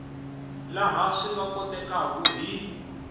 laha swi nga kotekaku hi